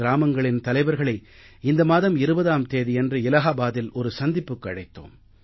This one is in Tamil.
கிராமங்களின் தலைவர்களை இந்த மாதம் 20ஆம் தேதி அன்று இலாஹாபாத்தில் ஒரு சந்திப்புக்கு அழைத்தோம்